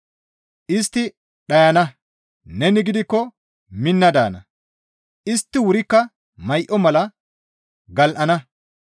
Istti dhayana; neni gidikko minna daana; istti wurikka may7o mala gal7ana.